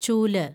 ചൂല്